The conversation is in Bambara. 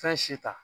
Fɛn si ta